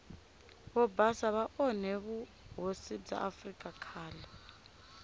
vobhasa va one vuhhosi bwa afrika khale